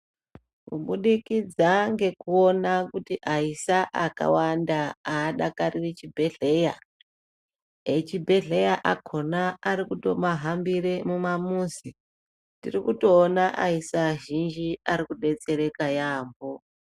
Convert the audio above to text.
Kubudikidza ngekuona kuti aisa akawanda aadakariri chibhehleya echibhehleya akona ari kutomahambire mumamuzi, tiri kutoona aisa azhinji ari kudetsereka yambo .